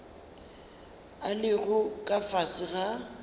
a lego ka fase ga